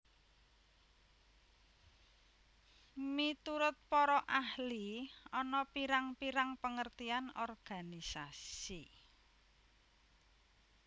Minurut para ahli ana pirang pirang pengertian organisasi